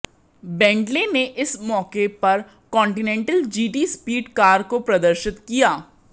Bentley ने इस मौके पर कॉन्टीनेंटल जीटी स्पीड कार को प्रदर्शित किया